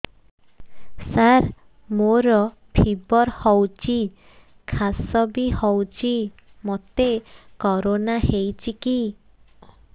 ସାର ମୋର ଫିବର ହଉଚି ଖାସ ବି ହଉଚି ମୋତେ କରୋନା ହେଇଚି କି